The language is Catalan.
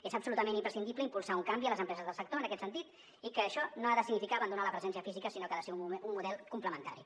és absolutament imprescindible impulsar un canvi a les empreses del sector en aquest sentit i això no ha de significar abandonar la presència física sinó que ha de ser un model complementari